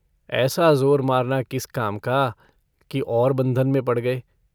ऐसा ज़ोर मारना किस काम का कि और बंधन में पड़ गए।